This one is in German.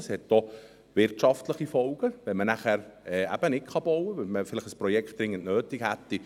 Dies hat auch wirtschaftliche Folgen, wenn man nachher nicht bauen kann, wenn man ein Projekt dringend nötig hätte.